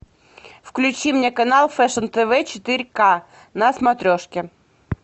включи мне канал фэшн тв четыре к на смотрешке